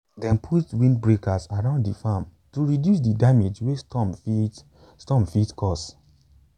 dem put windbreaks around di farm to reduce di damage wey storm fit storm fit cause.